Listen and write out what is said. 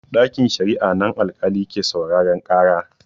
Ɗakin sharia a nan alƙali ke sauraren ƙara.